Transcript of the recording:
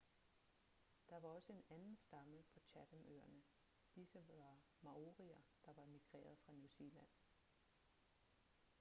der var også en anden stamme på chatham-øerne disse var maorier der var migreret fra new zealand